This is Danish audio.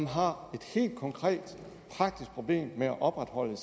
har et helt konkret og praktisk problem med at opretholde